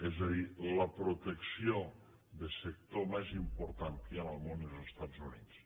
és a dir la protecció del sector més important que hi ha en el món és als estats units